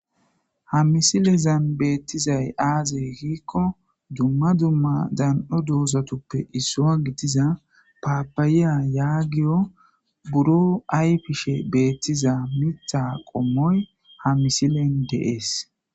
ha misilezan beettizay aazey hiikko dumma dumma dan7o doosatuppe issoa gidiza paapayiya yaagiyo buro ay pishe beettiza mitha qommoy ha misilen de7ees